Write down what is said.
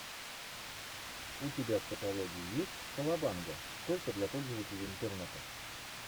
у тебя в каталоге есть колобанга только для пользователей интернета